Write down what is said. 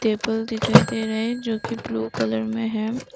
Table दिखाई दे रहे जोकि ब्लू कलर में है।